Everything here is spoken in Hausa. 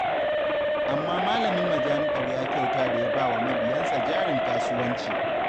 Amma malamin majami'ar ya kyauta da ya ba wa mabiyansa jarin kasuwanci